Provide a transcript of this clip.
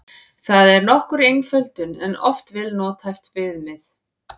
Það er nokkur einföldun en oft vel nothæft viðmið.